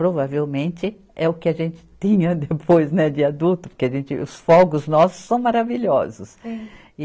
Provavelmente é o que a gente tinha depois, né de adulto, porque os fogos nossos são maravilhosos.